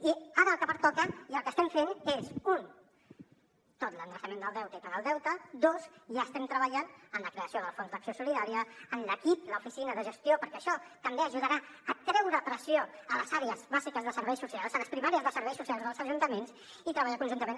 i ara el que pertoca i el que estem fent és un tot l’endreçament del deute i pagar el deute dos ja estem treballant en la creació del fons d’acció solidària en l’equip l’oficina de gestió perquè això també ajudarà a treure pressió a les àrees bàsiques de serveis socials a les primàries de serveis socials dels ajuntaments i treballar conjuntament